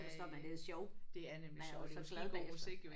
Så stoppede jeg men det er jo sjovt. Man er jo så glad bagefter